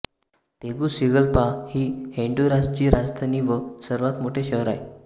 Tegucigalpa ही होन्डुरासची राजधानी व सर्वात मोठे शहर आहे